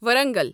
Warangal